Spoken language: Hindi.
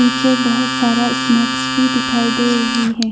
पीछे बहुत सारा स्नेक्स भी दिखाई दे रही है।